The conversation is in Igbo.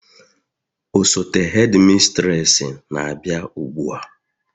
osote hedimistresi na-abịa ugbua